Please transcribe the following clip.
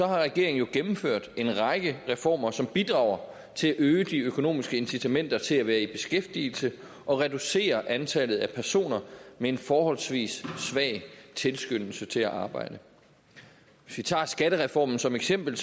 har regeringen jo gennemført en række reformer som bidrager til at øge de økonomiske incitamenter til at være i beskæftigelse og reducerer antallet af personer med en forholdsvis svag tilskyndelse til at arbejde hvis vi tager skattereformen som eksempel